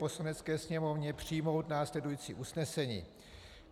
Poslanecké sněmovně přijmout následující usnesení: